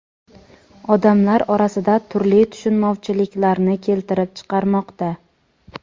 odamlar orasida turli tushunmovchiliklarni keltirib chiqarmoqda.